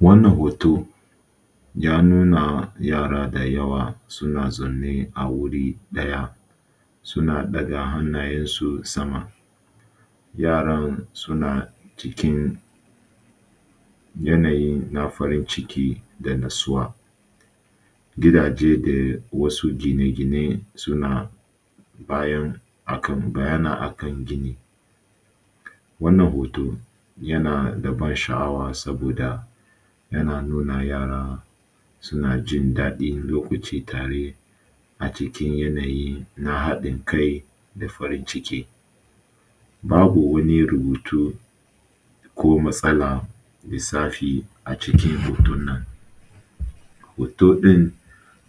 Wannan hoto ya nuna yara da yawa suna zaune a wuri ɗaya suna ɗaga hannayen su sama. Yaran suna cikin yanayi na farin ciki da natsuwa. Gidaje da wasu gine-gine suna bayan akan bayyana akan gini. Wannan hoto yana da ban sha’awa saboda yana nuna yara suna nuna jin daɗi wani lokaci tare a cikin yanayi na haɗin kai da farin ciki. Babu wani rubutu ko matsala lissafi a cikin hoton nan. Hoto ɗin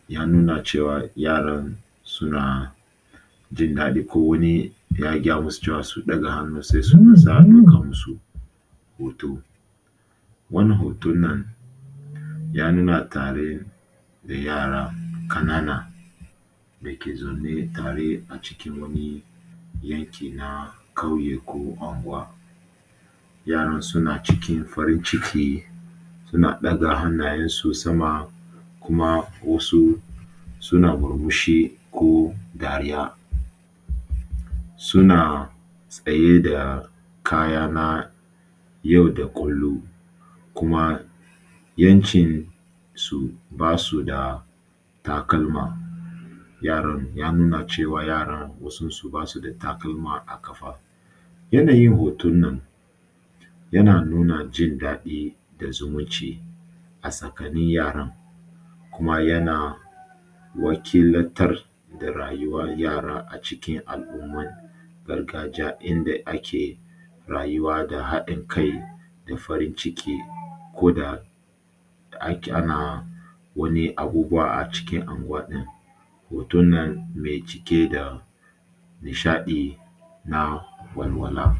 ya nuna cewa yaran suna jin daɗi kowani ya gaya masu cewa su ɗaga hannu matsa dukkan su hoto. Wannan hoton nan ya nuna tare da yara ƙanana dake zaune tare acikin wani yanki na ƙauye ko anguwa. Yaran suna cikin farin-ciki, suna ɗaga hannayensu sama kuma wasu suna murmushi ko dariya. Suna tsaye da kaya na yau da kullum kuma yawancin su basu da takalma, yaran ya nuna cewa yaran wasun su basu da takalma a ƙafa. Yanayin hoton nan yana nuna jindaɗi da zumunci a tsakanin yaran, kuma yana wakiltar da rayuwan yaran acikin al’ummar gargajiya inda ake rayuwa da haɗin kai da farin-ciki ko da ake ana wani abubuwa acikin anguwa ɗin. Hoton nan mai cike da nishaɗi na walwala.